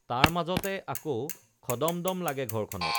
তাৰ মাজতে আকৌ খদমদম লাগে ঘৰখনত